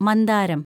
മന്ദാരം